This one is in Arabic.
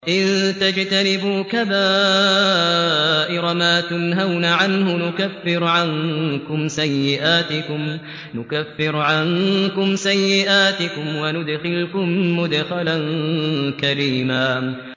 إِن تَجْتَنِبُوا كَبَائِرَ مَا تُنْهَوْنَ عَنْهُ نُكَفِّرْ عَنكُمْ سَيِّئَاتِكُمْ وَنُدْخِلْكُم مُّدْخَلًا كَرِيمًا